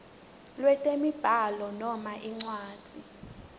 lwetemibhalo noma incwadzi